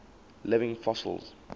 living fossils